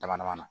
Dama dama na